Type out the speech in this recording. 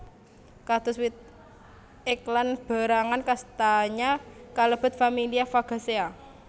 Kados wit ek lan berangan kastanya kalebet familia Fagaceae